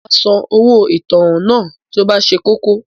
Màá San owó ìtanràn náà tí o bá ṣe kókó